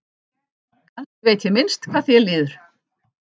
Kannski veit ég minnst hvað þér líður.